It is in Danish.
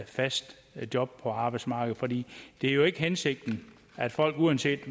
fast job på arbejdsmarkedet for det er jo ikke hensigten at folk uanset